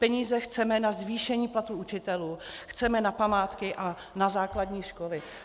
Peníze chceme na zvýšení platů učitelů, chceme na památky a na základní školy.